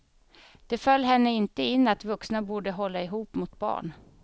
Det föll henne inte in att vuxna borde hålla ihop mot barn.